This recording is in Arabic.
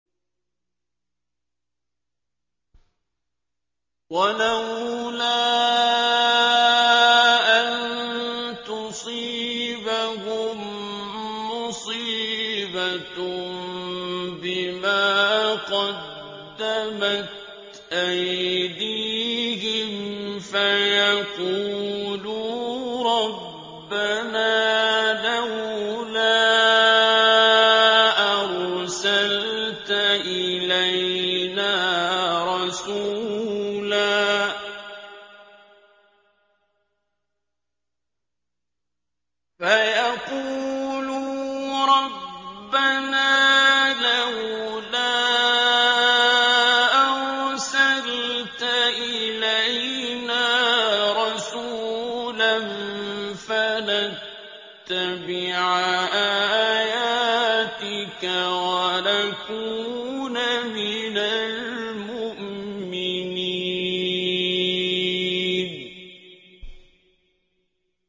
وَلَوْلَا أَن تُصِيبَهُم مُّصِيبَةٌ بِمَا قَدَّمَتْ أَيْدِيهِمْ فَيَقُولُوا رَبَّنَا لَوْلَا أَرْسَلْتَ إِلَيْنَا رَسُولًا فَنَتَّبِعَ آيَاتِكَ وَنَكُونَ مِنَ الْمُؤْمِنِينَ